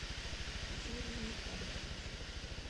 юрий никонорович